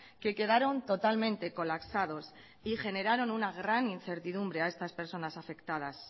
que quedaron totalmente colapsados y generaron una gran incertidumbre a estas personas afectadas